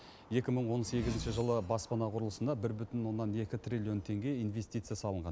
екі мың он сегізінші жылы баспана құрылысына бір бүтін оннан екі триллион теңге инвестция салынған